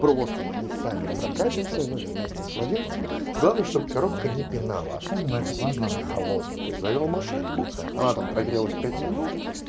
просто на ней сами прокатимся ну или вместе с владельцем главное чтобы коробка не пинала особенно это важно на холодную то есть завёл машинку она там прогрелась пять минут